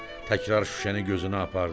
Təkrar şüşəni gözünə apardı.